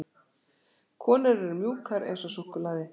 Konur eru mjúkar eins og súkkulaði.